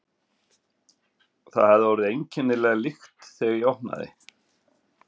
Það hafði verið einkennileg lykt þegar ég opnaði.